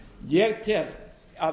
ég tel að